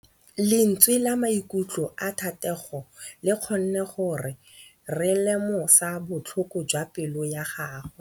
Lentswe la maikutlo a Thategô le kgonne gore re lemosa botlhoko jwa pelô ya gagwe.